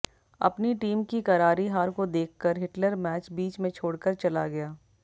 अपनी टीम की करारी हार को देखकर हिटलर मैच बीच में छोड़कर चला गया